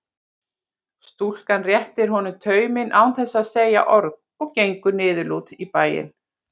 Stúlkan réttir honum tauminn án þess að segja orð og gengur niðurlút í bæinn.